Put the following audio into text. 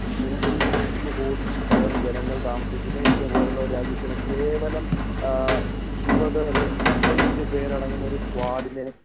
ഇന്ത്യപോലൊരു രാജ്യത്തിന് നൂറ്റി ഇരുപത്തി ഒൻപത് കോടി ജനങ്ങൾ താമസിക്കുന്ന ഇന്ത്യ പോലൊരു രാജ്യത്തിന് ഇരുപത് അല്ലെങ്കിൽ ഇരുപത്തഞ്ചു പേരടങ്ങുന്ന ഒരു സ്‌ക്വഡിനെ